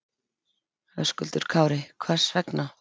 Höskuldur Kári: Hvers vegna?